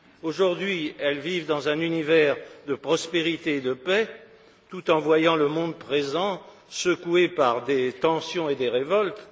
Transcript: Aujourd'hui, elles vivent dans un univers de prospérité et de paix tout en voyant le monde présent secoué par des tensions et des révoltes.